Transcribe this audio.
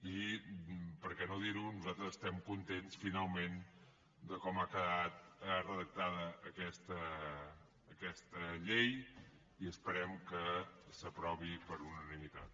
i per què no dir ho nosaltres estem contents finalment de com ha quedat redactada aquesta llei i esperem que s’aprovi per unanimitat